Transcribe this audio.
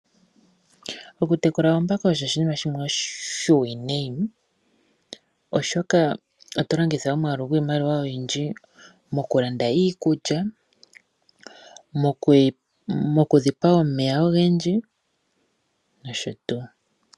Okutekula oombaka osho oshinima shimwe oshiwanawa oshoka otolongitha omwaalu gwiimaliwa oyindji mokulanda iikulya mokudhipa omeya ogendji nosho tuu